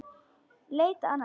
Leita annað?